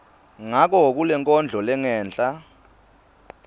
ngako kulenkondlo lengenhla